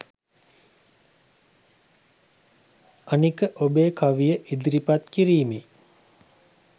අනික ඔබේ කවිය ඉදිරිපත් කිරීමේ